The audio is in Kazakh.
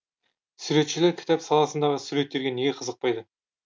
суретшілер кітап саласындағы суреттерге неге қызықпайды